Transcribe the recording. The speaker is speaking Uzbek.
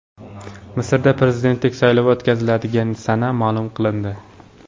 Misrda prezidentlik saylovi o‘tkaziladigan sana ma’lum qilindi.